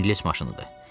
İngilis maşınıdır.